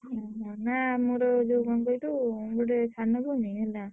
ଓହୋ ନା ଆମର ଯୋଉ କଣ କହିଲୁ ଗୋଟେ ସାନ ଭଉଣୀ ହେଲା।